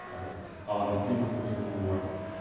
қазір ғаламдық климаттың жылынуы бар